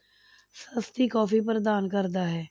ਸਸਤੀ ਕੋਫ਼ੀ ਪ੍ਰਦਾਨ ਕਰਦਾ ਹੈ।